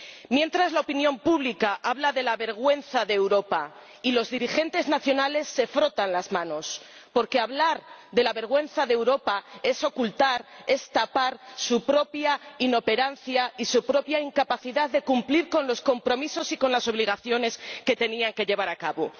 Mientras, la opinión pública habla de la vergüenza de Europa y los dirigentes nacionales se frotan las manos, porque hablar de la vergüenza de Europa es ocultar, es tapar su propia inoperancia y su propia incapacidad de cumplir con los compromisos y las obligaciones que tenían que llevar a cabo.